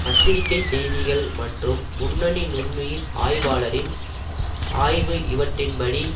பத்திரிகைச் செய்திகள் மற்றும் முன்னணி நுண்உயிர் ஆய்வாளரின் ஆய்வு இவற்றின்படி